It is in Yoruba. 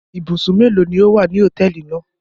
Ibùsùn mélòó ni ó wà ní hòtẹ́ẹ́lì náà?